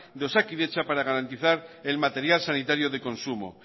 de osakidetza para garantizar el material sanitario de consumo